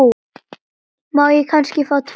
Má ég kannski fá tvö?